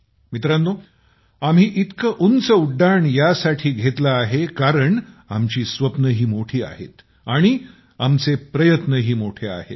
मित्रांनो आपण इतकी उंच उड्डाण यासाठी घेतलं आहे कारण आपली स्वप्नंही मोठी आहेत आणि प्रयत्नही मोठे आहेत